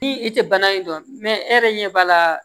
Ni i tɛ bana in dɔn e yɛrɛ ɲɛ b'a la